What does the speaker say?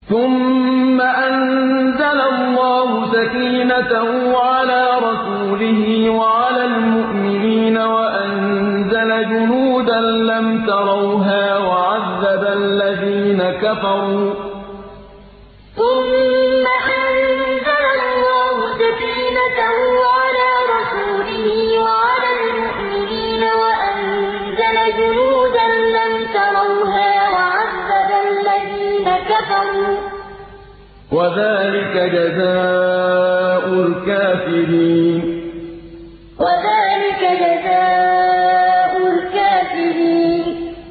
ثُمَّ أَنزَلَ اللَّهُ سَكِينَتَهُ عَلَىٰ رَسُولِهِ وَعَلَى الْمُؤْمِنِينَ وَأَنزَلَ جُنُودًا لَّمْ تَرَوْهَا وَعَذَّبَ الَّذِينَ كَفَرُوا ۚ وَذَٰلِكَ جَزَاءُ الْكَافِرِينَ ثُمَّ أَنزَلَ اللَّهُ سَكِينَتَهُ عَلَىٰ رَسُولِهِ وَعَلَى الْمُؤْمِنِينَ وَأَنزَلَ جُنُودًا لَّمْ تَرَوْهَا وَعَذَّبَ الَّذِينَ كَفَرُوا ۚ وَذَٰلِكَ جَزَاءُ الْكَافِرِينَ